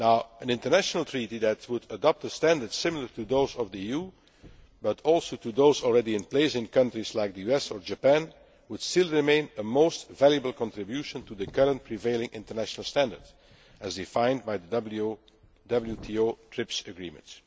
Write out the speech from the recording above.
that. An international treaty that would adopt standards similar to those of the EU, but also to those already in place in countries like the US or Japan, would still be a most valuable contribution to the current prevailing international standard as defined by the WTO TRIPS